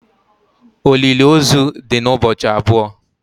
Olili ozu di n' ụbọchị abụọ